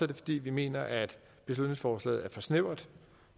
det fordi vi mener at beslutningsforslaget er for snævert